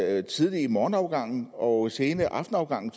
er tidlige morgenafgange og sene aftenafgange